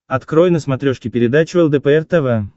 открой на смотрешке передачу лдпр тв